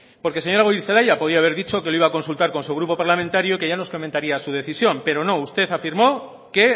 porque señora goirizelaia podría haber dicho que lo iba a consultar con su grupo parlamentario que ya nos comentaría su decisión pero no usted afirmó que